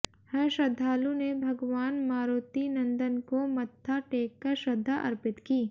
हर श्रद्धालु ने भगवान मारुतिनंदन को मत्था टेककर श्रद्धा अर्पित की